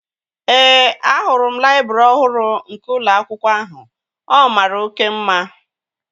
Ee, ahụrụ m laịbrị ọhụrụ nke ụlọ akwụkwọ ahụ. Ọ mara oké mma